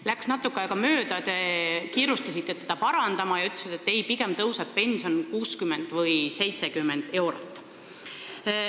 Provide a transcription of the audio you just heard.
Läks natuke aega mööda, te kiirustasite teda parandama ja ütlesite, et ei, pigem tõuseb pension 60 või 70 eurot.